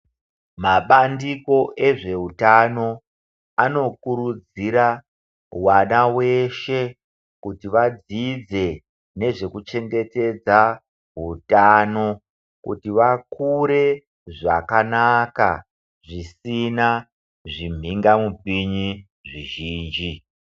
Mabandiko ezvehutano anokurudzira vana veshe kuti vadzidze nezvekuchengetedza hutano. Kuti vakure zvakanaka zvisina zvimhinga mupinyi zvizhinji.